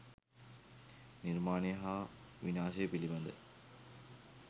නිර්මාණය හා විනාශය පිළිබඳ